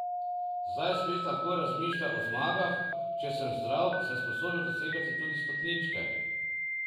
Zdaj spet lahko razmišlja o zmagah: "Če sem zdrav, sem sposoben dosegati tudi stopničke.